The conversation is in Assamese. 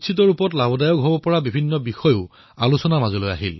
বিদ্যাৰ্থী উপকৃত হব পৰা বিভিন্ন বিষয় উত্থাপিত হল